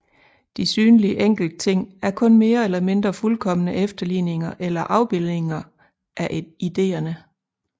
De synlige enkeltting er kun mere eller mindre fuldkomne efterligninger eller afbildninger af ideerne